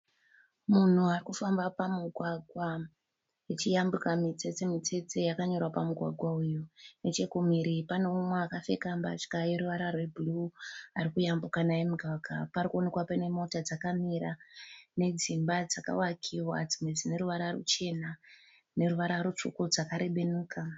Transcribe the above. Munhu arikufamba pamugwagwa achiyambuka mitsetse mitsetse yakanyorwa pamugwagwa uyu, nechekumhiri panemumwe wakapfeka mbatya yeruvara rwebhuru arukuyambuka naye mugwagwa. Parukonekwa panemota dzakamira nedzimba dzakavakiwa dzimwe dzineruvara ruchena neruvara rutsvuku dzakarebenuka.